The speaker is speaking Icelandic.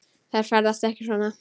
Þær ferðast ekki svona.